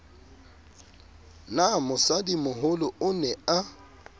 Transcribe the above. na mosadimoholo o ne a